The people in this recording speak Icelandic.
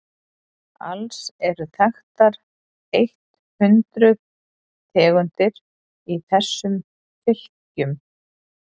alls eru þekktar eitt hundruð tegundir í þessari fylkingu